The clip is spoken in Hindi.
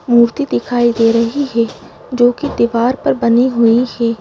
मूर्ति दिखाई दे रही है जो कि दीवार पर बनी हुई है।